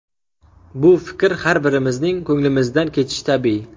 Bu fikr har birimizning ko‘ngilimizdan kechishi tabiiy.